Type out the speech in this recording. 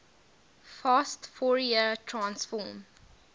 fast fourier transform